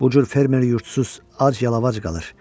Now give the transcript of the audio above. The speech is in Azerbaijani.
Bu cür fermer yurdsuz, ac yalavac qalır.